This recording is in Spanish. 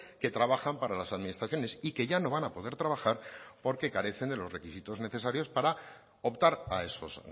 que trabajan para las administraciones y que ya no van a poder trabajar porque carecen de los requisitos necesarios para optar a esos